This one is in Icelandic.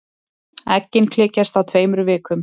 Eggin klekjast á tveimur vikum.